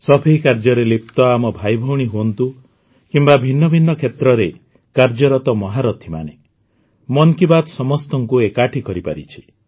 ସଫେଇ କାର୍ଯ୍ୟରେ ଲିପ୍ତ ଆମ ଭାଇଭଉଣୀ ହୁଅନ୍ତୁ କିମ୍ବା ଭିନ୍ନ ଭିନ୍ନ କ୍ଷେତ୍ରରେ କାର୍ଯ୍ୟରତ ମହାରଥିମାନେ ମନ୍ କି ବାତ୍ ସମସ୍ତଙ୍କୁ ଏକାଠି କରିପାରିଛି